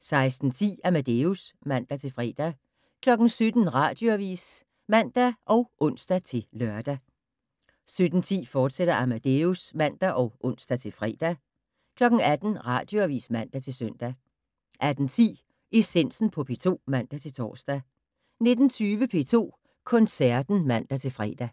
16:10: Amadeus (man-fre) 17:00: Radioavis (man og ons-lør) 17:10: Amadeus, fortsat (man og ons-fre) 18:00: Radioavis (man-søn) 18:10: Essensen på P2 (man-tor) 19:20: P2 Koncerten (man-fre)